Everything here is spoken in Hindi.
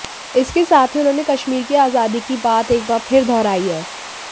इसके साथ ही उन्होंने कश्मीर की आजादी की बात एक बार फिर दोहराई है